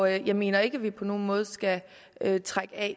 jeg mener ikke at vi på nogen måde skal trække at